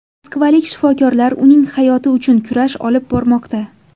Moskvalik shifokorlar uning hayoti uchun kurash olib bormoqda.